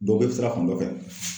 Dɔ be sira fan dɔ fɛ